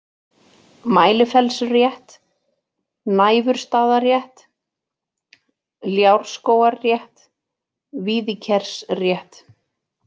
Mælifellsrétt, Næfurstaðarétt, Ljárskógarétt, Víðikersrétt